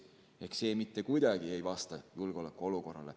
See ei vasta mitte kuidagi praegusele julgeolekuolukorrale.